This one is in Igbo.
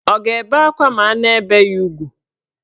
Ọ ga-ebe akwa ma a na-ebe ya ugwu?